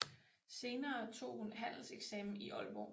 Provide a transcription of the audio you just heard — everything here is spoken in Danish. Senere tog hun handelseksamen i Aalborg